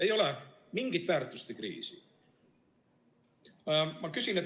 Ei ole mingit väärtuste kriisi.